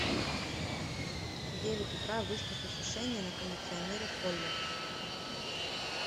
в девять утра выставь осушение на кондиционере в холле